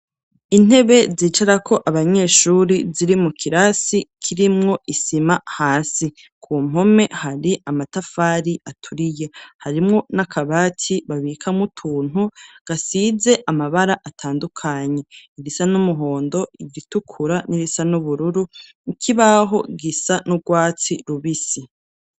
Intebe zicarako abanyeshuri, ziri mu kirasi kirimwo isima hasi, ku mpome hari amatafari aturiye harimwo n'akabati babika mutuntu, gasize amabara atandukanye, irisa n'umuhondo ,igitukura n'irisa n'ubururu, ibaho gisa n'urwatsi rubisi.